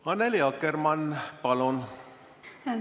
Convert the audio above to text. Annely Akkermann, palun!